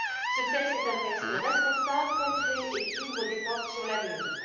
Ce texte est un texte responsable, concret et qui ouvre des portes sur l'avenir.